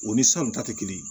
O ni san ta tɛ kelen ye